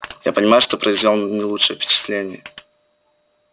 я понимаю что произвёл не лучшее впечатление